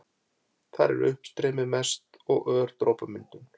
Þar er uppstreymi mest og ör dropamyndun.